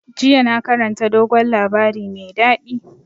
Yesterday i read sweet tall tales.